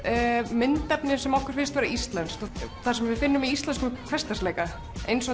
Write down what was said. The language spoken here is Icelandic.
myndefni sem okkur finnst vera íslenskt það sem við finnum í íslenskum hversdagsleika eins og